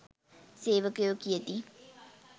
සේවකයෝ කියති